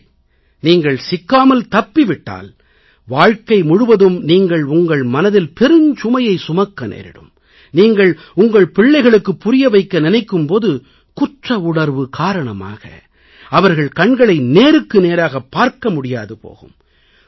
ஒருவேளை நீங்கள் சிக்காமல் தப்பி விட்டால் வாழ்க்கை முழுவதும் நீங்கள் உங்கள் மனதில் பெருஞ்சுமையை சுமக்க நேரிடும் நீங்கள் உங்கள் பிள்ளைகளுக்கு புரிய வைக்க நினைக்கும் போது குற்றவுணர்வு காரணமாக அவர்கள் கண்களை நேருக்கு நேராகப் பார்க்க முடியாது போகும்